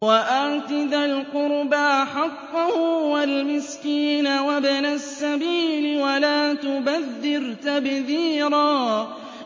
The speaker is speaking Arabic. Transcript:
وَآتِ ذَا الْقُرْبَىٰ حَقَّهُ وَالْمِسْكِينَ وَابْنَ السَّبِيلِ وَلَا تُبَذِّرْ تَبْذِيرًا